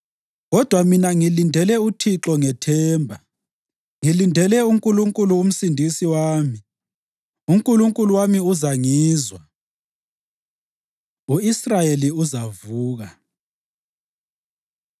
Kodwa mina ngilindele uThixo ngethemba, ngilindele uNkulunkulu uMsindisi wami; uNkulunkulu wami uzangizwa. U-Israyeli Uzavuka